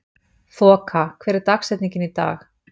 Þoka, hver er dagsetningin í dag?